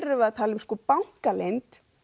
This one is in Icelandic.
erum við að tala um bankaleynd